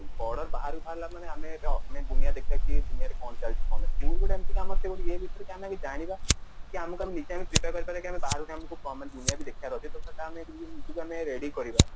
ଆମେ ଏବେ ଅପ୍ନି ଦୁନିଆ ଦେଖିବା କି ଏଇ ଦୁନିଆ ରେ କଣ ଚାଲିଛି କଣ ନାଇଁ କହିକି ନା ଆମେ ଜାଣିବା ତ ସେଟା ଆମେ ନିଜକୁ ଆମେ ready କରିବା